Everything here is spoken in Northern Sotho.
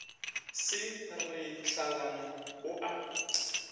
se ra hlalana o a